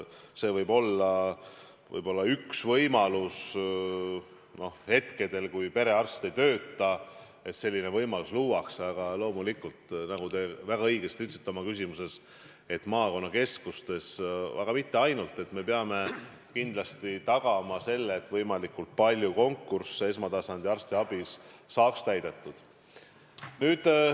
See võib olla üks võimalus hetkedel, kui perearst ei tööta, et siis selline võimalus luuakse, aga loomulikult, nagu te väga õigesti ütlesite oma küsimuses, maakonnakeskustes, aga mitte ainult, me peame kindlasti tagama selle, et võimalikult palju konkursse esmatasandi arstiabis õnnestuks.